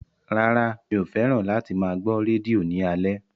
Rárá mi ò fẹ́ràn láti máa gbọ́ rédíò ní alẹ́